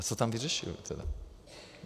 A co tam vyřešili tedy?